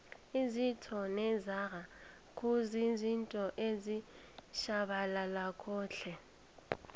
izitjho nezaga kuzizinto ezitjhabalalako tle